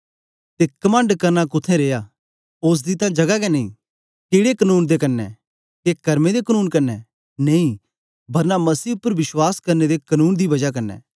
ते कमंड करना कुत्थें रिया ओसदी तां जगा गै नेई केड़े कनून दे क्न्ने के करमें दे कनून क्न्ने नेई बरना मसीह उपर विश्वास करने दे कनून दे बजा क्न्ने